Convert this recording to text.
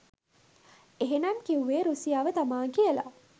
එහෙනම් කිව්වෙ රුසියාව තමා කියලා?